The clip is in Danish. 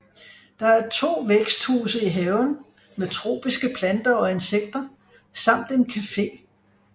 Der er 2 væksthuse i haven med tropiske planter og insekter samt en café